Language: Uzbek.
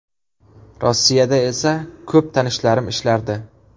Rossiyada esa ko‘p tanishlarim ishlardi.